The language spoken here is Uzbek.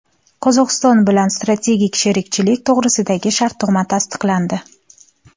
Qozog‘iston bilan strategik sherikchilik to‘g‘risidagi shartnoma tasdiqlandi.